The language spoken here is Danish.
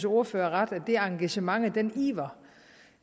ordfører ret i at det engagement og den iver